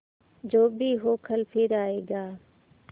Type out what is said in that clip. जो भी हो कल फिर आएगा